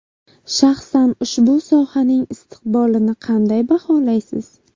Shaxsan ushbu sohaning istiqbolini qanday baholaysiz?